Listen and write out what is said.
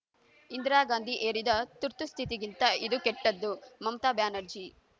ಇಂದಿರಾ ಗಾಂಧಿ ಹೇರಿದ ತುರ್ತುಸ್ಥಿತಿಗಿಂತ ಇದು ಕೆಟ್ಟದ್ದು ಮಮತಾ ಬ್ಯಾನರ್ಜಿ